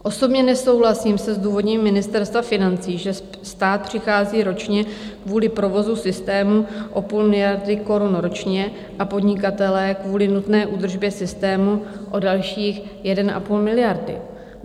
Osobně nesouhlasím se zdůvodněním Ministerstva financí, že stát přichází ročně kvůli provozu systému o půl miliardy korun ročně a podnikatelé kvůli nutné údržbě systému o dalších 1,5 miliardy.